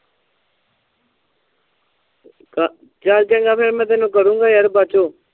ਚਾਲ ਚੰਗਾ ਫੇਰ ਮੈਂ ਤੈਨੂੰ ਕਰੂਗਾ ਯਾਰ ਬੜਚੋ